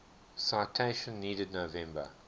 citation needed november